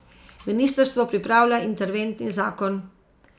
Ministrstvo pripravlja interventni zakon.